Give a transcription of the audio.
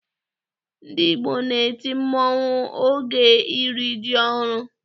Ndị Igbo na-eti mmọnwụ oge iri ji ọhụrụ